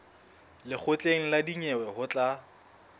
lekgotleng la dinyewe ho tla